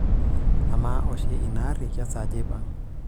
amaa oshi ina aarri kesaaja eipang'